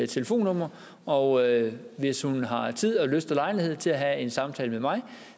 telefonnummer og hvis hun har tid og lyst og lejlighed til at have en samtale med mig